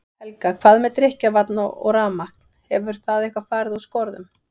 Helga: Hvað með drykkjarvatn og rafmagn, hefur það eitthvað fari úr skorðum?